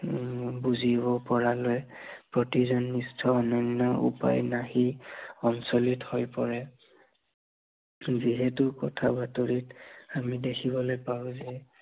উম বুজিব পৰালৈ প্ৰতিজন নিষ্ঠ, অনন্য় উপায়বিহীন সঞ্চৰিত হৈ পৰে। যিহেতু কথা বাতৰিত আমি দেখিবলৈ পাও যে